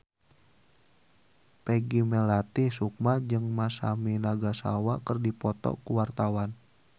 Peggy Melati Sukma jeung Masami Nagasawa keur dipoto ku wartawan